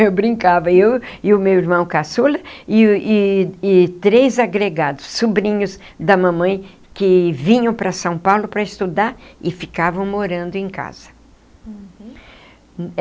Eu brincava, eu e o meu irmão caçula e o e e três agregados, sobrinhos da mamãe, que vinham para São Paulo para estudar e ficavam morando em casa. Uhum.